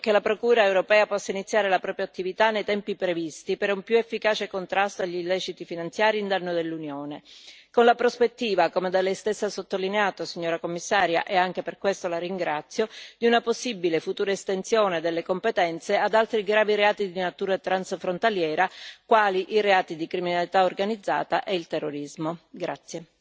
L'auspicio è che la Procura europea possa iniziare la propria attività nei tempi previsti, per un più efficace contrasto agli illeciti finanziari in danno dell'Unione, con la prospettiva, come da Lei stessa sottolineato, signora Commissaria e anche per questo la ringrazio, di una possibile futura estensione delle competenze ad altri gravi reati di natura transfrontaliera, quali i reati di criminalità organizzata e il terrorismo.